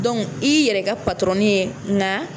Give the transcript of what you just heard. i yɛrɛ ka ye nka